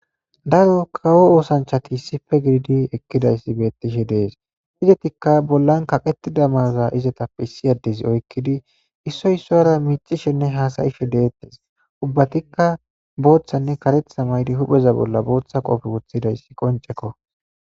Daro kawo osanachati issippe gidi eqida betishe des izetikka bollan qaqetida mayor's izeta issi adezi oykidi issoy issuwara micishenne hasayishe detese ubatika Bothanne karetha mayidi hu'e bolla botha qofe Wothides qoncekko